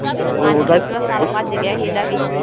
ਹਾਂਜੀ . ਪਿਛਲਾ ਸਾਲ ਭੱਜ ਗਿਆ ਸੀ ਇਹਦਾ ਵੀ।